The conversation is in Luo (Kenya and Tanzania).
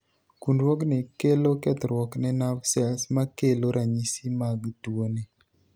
kunruogni kelo kethruok ne nav sels makelo ranyisi mag tuo ni